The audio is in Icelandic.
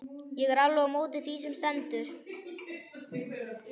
Ég er alveg á móti því sem stendur.